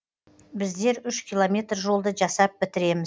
біздер үш километр жолды жасап бітіреміз